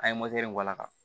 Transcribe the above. An ye in k'a la